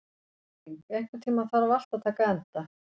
Erling, einhvern tímann þarf allt að taka enda.